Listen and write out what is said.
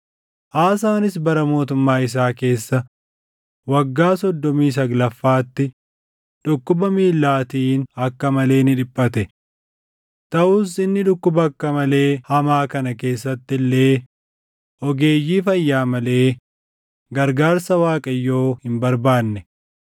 Aasaanis bara mootummaa isaa keessa waggaa soddomii saglaffaatti dhukkuba miillaatiin akka malee ni dhiphate. Taʼus inni dhukkuba akka malee hamaa kana keessatti illee ogeeyyii fayyaa malee gargaarsa Waaqayyoo hin barbaanne.